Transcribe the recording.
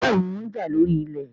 béèni wón já lórí ilé